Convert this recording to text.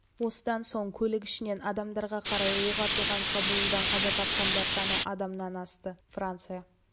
осыдан соң көлік ішінен адамдарға қарай оқ атылған шабуылдан қаза тапқандар саны адамнан асты франция